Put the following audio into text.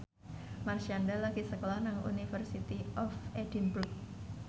Marshanda lagi sekolah nang University of Edinburgh